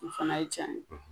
O fana ye tiɲɛ ye